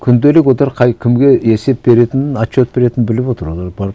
күнделік отыр қай кімге есеп беретінін отчет беретінін біліп отыр олар барып